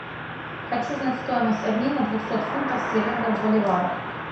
хочу знать стоимость обмена двухсот фунтов стерлингов в боливарах